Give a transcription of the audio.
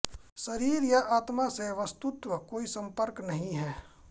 शरीर या आत्मा से वस्तुत कोई संपर्क नहीं है